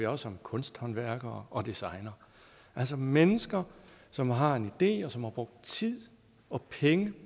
også om kunsthåndværkere og designere altså mennesker som har en idé og som har brugt tid og penge